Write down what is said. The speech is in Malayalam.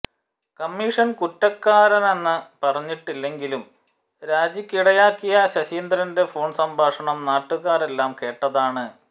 കമ്മിഷന് കുറ്റക്കാരനെന്നു പറഞ്ഞിട്ടില്ലെങ്കിലും രാജിക്കിടയാക്കിയ ശശീന്ദ്രന്റെ ഫോണ് സംഭാഷണം നാട്ടുകാരെല്ലാം കേട്ടതാണ്